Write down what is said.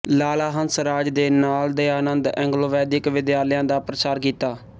ਲਾਲਾ ਹੰਸਰਾਜ ਦੇ ਨਾਲ ਦਇਆਨੰਦ ਐਂਗਲੋਵੈਦਿਕ ਵਿਦਿਆਲਿਆਂ ਦਾ ਪ੍ਰਸਾਰ ਕੀਤਾ